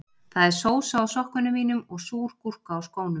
Það er sósa á sokkunum mínum og súr gúrka á skónum